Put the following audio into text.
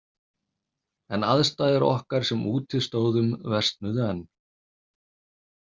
En aðstæður okkar sem úti stóðum versnuðu enn.